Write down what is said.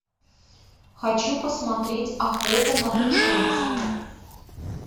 хочу посмотреть охота на пришельца